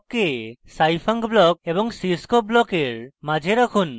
ব্লককে scifunc block এবং cscope ব্লকের মাঝে রাখুন